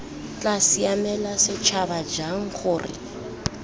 tla siamela setšhaba jang gore